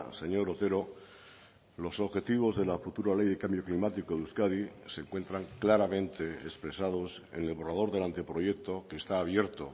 señor otero los objetivos de la futura ley de cambio climático de euskadi se encuentran claramente expresados en el borrador del anteproyecto que está abierto